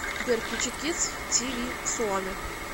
сбер включи кидс ти ви суоми